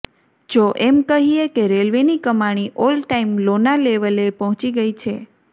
જો એમ કહીએ કે રેલવેની કમાણી ઓલ ટાઇમ લોના લેવલે પહોંચી ગઇ છે